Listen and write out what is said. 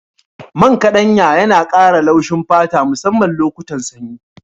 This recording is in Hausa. Man ƙaɗanya yana ƙara laushin fata musamman lokutan sanyi.